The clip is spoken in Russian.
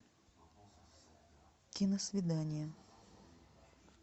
киносвидание